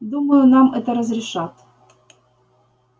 думаю нам это разрешат